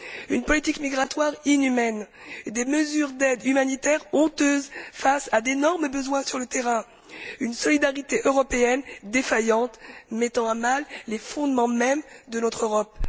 Une politique migratoire inhumaine, des mesures d'aide humanitaire honteuses face à d'énormes besoins sur le terrain, une solidarité européenne défaillante, mettant à mal les fondements mêmes de notre Europe.